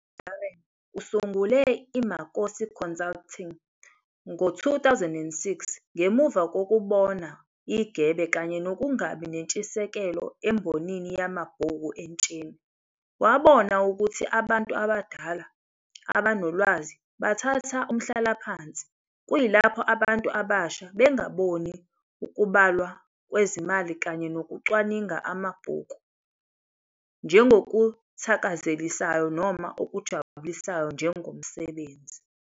UDarren usungule iMakosi Consulting ngo-2006 ngemuva kokubona igebe kanye nokungabi nentshisekelo embonini yamabhuku entsheni. Wabona ukuthi abantu abadala abanolwazi bathatha umhlalaphansi kuyilapho abantu abasha bengaboni ukubalwa kwezimali kanye nokucwaninga kwamabhuku njengokuthakazelisayo noma okujabulisayo njengomsebenzi.